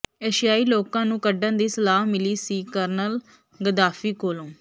ਏਸ਼ੀਆਈ ਲੋਕਾਂ ਨੂੰ ਕੱਢਣ ਦੀ ਸਲਾਹ ਮਿਲੀ ਸੀ ਕਰਨਲ ਗੱਦਾਫ਼ੀ ਕੋਲੋਂ